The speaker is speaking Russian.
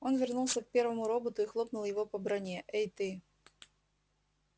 он вернулся к первому роботу и хлопнул его по броне эй ты